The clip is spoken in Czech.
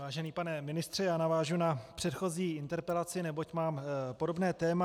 Vážený pane ministře, já navážu na předchozí interpelaci, neboť mám podobné téma.